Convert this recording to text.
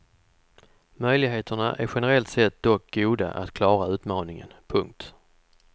Möjligheterna är generellt sett dock goda att klara utmaningen. punkt